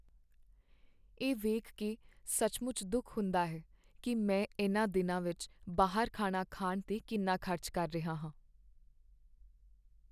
ਇਹ ਵੇਖ ਕੇ ਸੱਚਮੁੱਚ ਦੁੱਖ ਹੁੰਦਾ ਹੈ ਕਿ ਮੈਂ ਇਨ੍ਹਾਂ ਦਿਨਾਂ ਵਿੱਚ ਬਾਹਰ ਖਾਣਾ ਖਾਣ 'ਤੇ ਕਿੰਨਾ ਖ਼ਰਚ ਕਰ ਰਿਹਾ ਹਾਂ।